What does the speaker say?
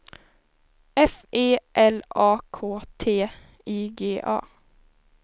F E L A K T I G A